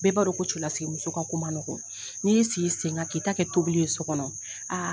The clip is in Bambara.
Bɛɛ b'a dɔn ko cɛlasigi muso ka ko man nɔgɔ. Ni y'i sigi i sen kan k'i ta kɛ tobili ye so kɔnɔ, aa